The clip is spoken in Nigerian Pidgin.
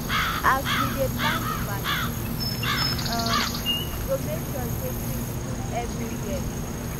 as we dey plan di party we um go make sure sey drinks full everywhere